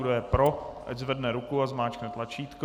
Kdo je pro, ať zvedne ruku a zmáčkne tlačítko.